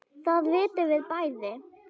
Það vitum við bæði.